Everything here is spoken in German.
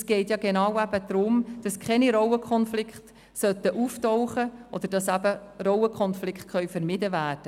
Es geht genau darum, dass keine Rollenkonflikte auftreten sollten, oder dass Rollenkonflikte vermieden werden.